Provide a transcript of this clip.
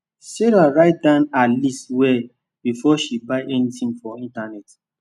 sarah write down her list well before she buy anything for internet